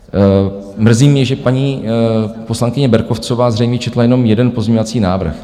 Mrzí mě, že paní poslankyně Berkovcová zřejmě četla jenom jeden pozměňovací návrh.